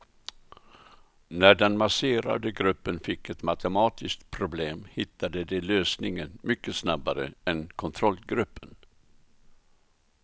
När den masserade gruppen fick ett matematiskt problem hittade de lösningen mycket snabbare än kontrollgruppen.